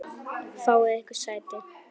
Fáið yður sæti.